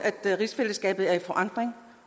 at rigsfællesskabet er i forandring